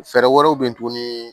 Fɛɛrɛ wɛrɛw bɛ yen tuguni